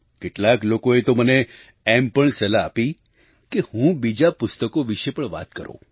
કેટલાક લોકોએ તો મને એમ પણ સલાહ આપી કે હું બીજાં પુસ્તકો વિશે પણ વાત કરું